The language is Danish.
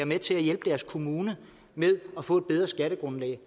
med til at hjælpe deres kommune med at få et bedre skattegrundlag